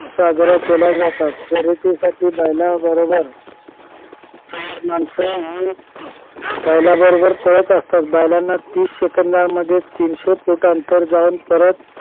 साजरा केल्या जातात. शर्यतीसाठी बैलाबरोबर बैलाबरोबर पळत असतात बैलांना तीस सेकंदामध्ये तीनशे फूट अंतर जाऊन परत